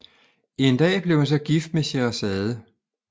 En dag blev han så gift med Scheherazade